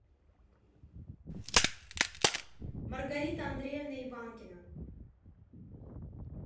маргарита андреевна иванкина